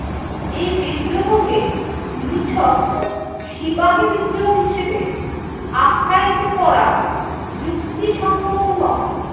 এই বিদ্রোহকে নিছক সিপাহী বিদ্রোহ হিসেবে আখ্যায়িত করা যুক্তিসঙ্গত নয়।